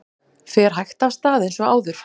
Fer hægt af stað eins og áður